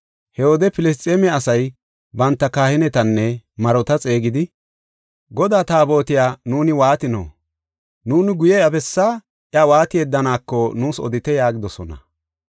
He wode Filisxeeme asay banta kahinetanne marota xeegidi, “Godaa Taabotiya nuuni waatino? Nuuni guye iya bessaa iya waati yeddaneeko nuus odite” yaagidosona.